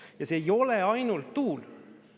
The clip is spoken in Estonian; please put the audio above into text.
Ja see ei ole ainult tuul.